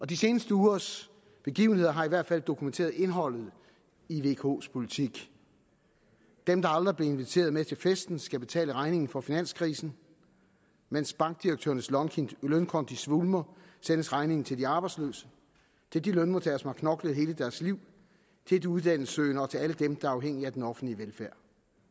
de seneste ugers begivenheder har i hvert fald dokumenteret indholdet i vks politik dem der aldrig blev inviteret med til festen skal betale regningen for finanskrisen mens bankdirektørernes lønkonti svulmer sendes regningen til de arbejdsløse til de lønmodtagere som har knoklet hele deres liv til de uddannelsessøgende og til alle dem der er afhængige af den offentlige velfærd